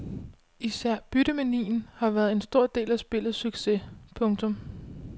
Især byttemanien har været en stor del af spillets succes. punktum